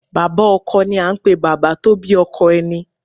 Bàbá Ọkọ ni à n pè Bàbá tó bí ọkọ ẹni